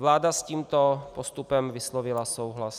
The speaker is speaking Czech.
Vláda s tímto postupem vyslovila souhlas.